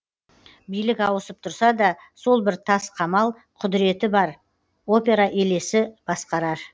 билік ауысып тұрса да сол бір тас қамал құдіреті бар опера елесі басқарар